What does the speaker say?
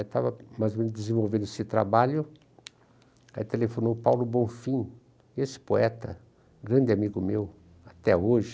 Estava mais ou menos desenvolvendo esse trabalho, aí telefonou Paulo Bonfim, esse poeta, grande amigo meu até hoje.